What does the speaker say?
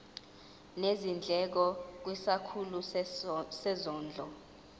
nezindleko kwisikhulu sezondlo